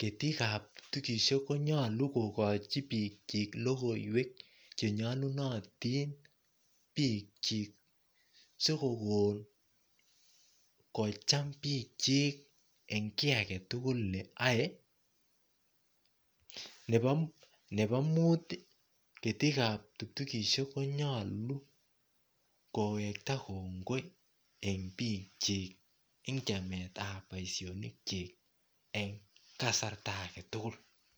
ketikab ptuktukishek konyolu kokochi biik chik lokoiwek chenyalunatin biik chik sikokon kocham biik chik eng' kii agetugul neoei nebo muut ketikab ptuktukishek konyolu kowekta kongoit eng' biik chik ing' chametab boishonik chok eng' kasarta agetugul